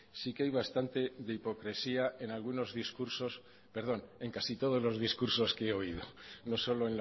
sí que hay bastante de hipocresía en algunos discursos perdón en casi todos los discursos que he oído no solo